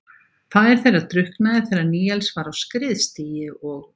Faðir þeirra drukknaði þegar Níels var á skriðstigi og